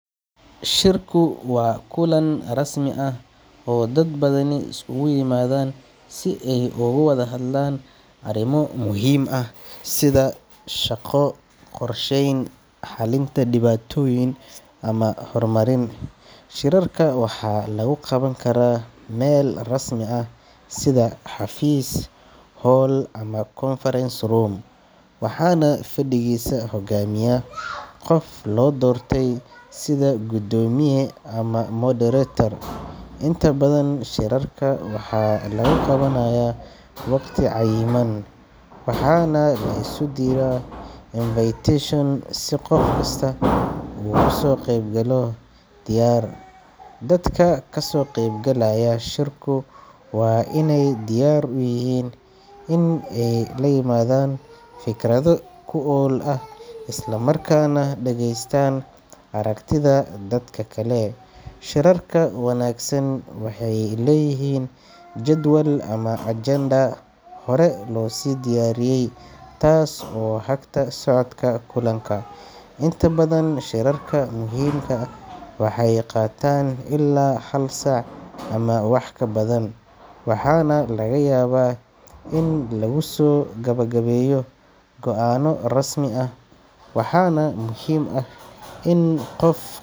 Shirku waa kulan rasmi ah oo dad badani iskugu yimaadaan si ay uga wadahadlaan arrimo muhiim ah sida shaqo, qorsheyn, xalinta dhibaatooyin, ama horumarin. Shirarka waxaa lagu qaban karaa meel rasmi ah sida xafiis, hool ama conference room, waxaana fadhigiisa hogaamiya qof loo doortay sida guddoomiye ama moderator. Inta badan shirarka waxaa lagu qabanayaa waqti cayiman, waxaana la isu diraa invitation si qof kasta uu uga soo qaybgalo diyaar. Dadka ka soo qaybgalaya shirku waa inay diyaar u yihiin in ay la yimaadaan fikrado wax ku ool ah, isla markaana dhagaystaan aragtida dadka kale. Shirarka wanaagsan waxay leeyihiin jadwal ama agenda hore loo sii diyaariyey taas oo hagta socodka kulanka. Inta badan shirarka muhiimka ah waxay qaataan ilaa hal saac ama wax ka badan, waxaana laga yaabaa in lagu soo gabagabeeyo go'aano rasmi ah. Waxaa muhiim ah in qof.